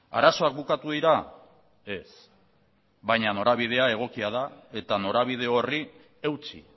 arazoak bukatu dira ez baina norabidea egokia da eta norabide horri eutsi